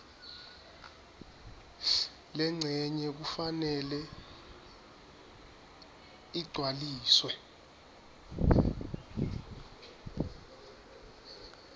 lencenye kufanele igcwaliswe